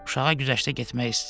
Uşağa güzəştə getmək istəyir.